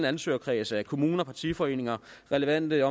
ansøgerkreds af kommuner partiforeninger relevante